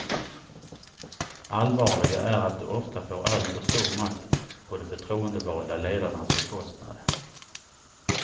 Allvarligare är att de ofta får alltför stor makt, på de förtroendevalda ledarnas bekostnad.